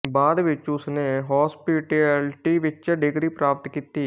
ਬਾਅਦ ਵਿੱਚ ਉਸ ਨੇ ਹੋਸਪਿਟੈਲਿਟੀ ਵਿੱਚ ਡਿਗਰੀ ਪ੍ਰਾਪਤ ਕੀਤੀ